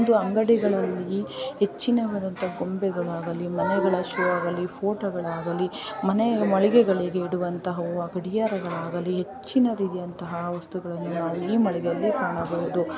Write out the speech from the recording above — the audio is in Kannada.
ಇದು ಅಂಗಡಿಗಳಲ್ಲಿ ಎಚ್ಚಿನವರಂತಹ ಗೊಂಬೆಗಳಾಗಲಿ ಮನೆಗಳ ಶೋ ಆಗಲಿ ಫೋಟೋ ಗಳಾಗಲಿ ಮನೆ ಮಳಿಗೆಗಳಿಗೆ ಇಡುವಂತಹ ಗಡಿಯಾರಗಳಾಗಲಿ ಹೆಚ್ಚಿನದಿದೆಯಂತಹ ವಸ್ತುಗಳನ್ನು ಈ ಮಳಿಗೆಯಲ್ಲೇ ಕಾಣಬಹುದು.